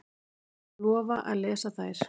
Lofa að lesa þær.